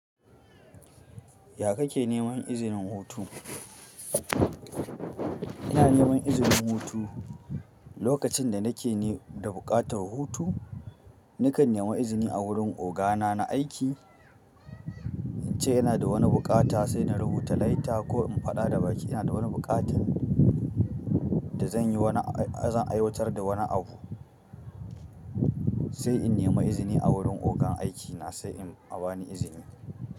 Ya kake neman izinin hutu? Ina neman izinin hutu lokacin da nake ne da buƙatar hutu. Na kan nema izini a wurin oga na na aiki, in ce in na da wani buƙata sai na rubuta leta ko in faɗa da baki ina da wani buƙatan da zan yi wani ab--zan aiwatar da wani abu. Sai in nema izini a wurin ogan aiki na sai in an bani izini.